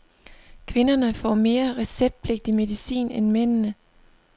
Kvinderne får mere receptpligtig medicin end mændene.